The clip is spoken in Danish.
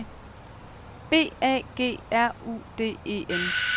B A G R U D E N